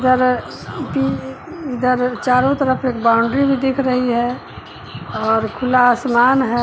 इधर भी इधर चारों तरफ एक बाउंड्री भी दिख रही है और खुला आसमान है।